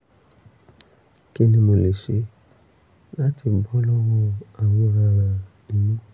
kí ni mo lè ṣe láti bọ́ lọ́wọ́ àwọn aràn inú?